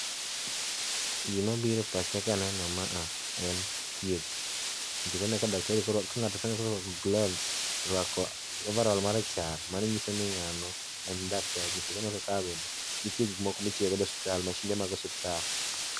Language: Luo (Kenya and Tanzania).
Gima biro e pacha kaneno ma a en thieth nikech aneno ka daktari ka ng'ato iseneno korwako gloves to oruako ovarol marachar mano nyiso ni ngano en daktari nikech aneno ka bende nitie gik moko mitiyo go e siptal mashinde mog osiptal.